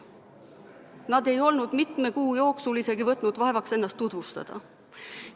Nad ei olnud mitme kuu jooksul isegi võtnud vaevaks ennast tutvustada.